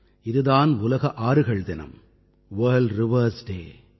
இது தான் உலக ஆறுகள் தினம் அதாவது வர்ல்ட் ரிவர் டே